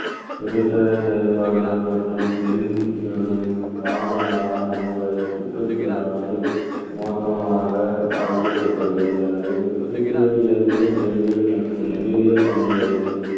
தொழிற்சாலை செயல்பாடுகள் மற்றும் பெருகி வரும் வாகனங்களால் நம்முடைய சுற்றுச்சூழலானது மோசமாக பாதிக்கப்பட்டுள்ளது எனவே சுற்றுச்சுழல் இயற்பியல், வேதியியல் மற்றும் உயிரியல் பண்புகளில்